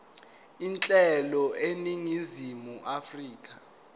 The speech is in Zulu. uhlelo eningizimu afrika